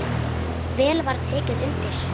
Vel var tekið undir.